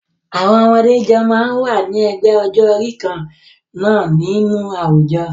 Àwọn ọmọdé jọ máa ń wà ní ẹgbẹ́ ọjọ́-orí kan náà nínú àwùjọ.